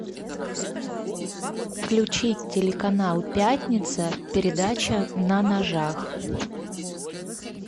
включить телеканал пятница передача на ножах